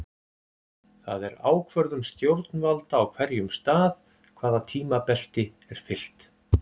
Það er ákvörðun stjórnvalda á hverjum stað hvaða tímabelti er fylgt.